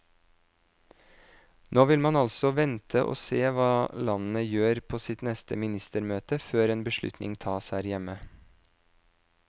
Nå vil man altså vente og se hva landene gjør på sitt neste ministermøte før en beslutning tas her hjemme.